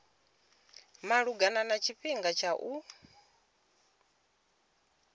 malugana na tshifhinga tsha u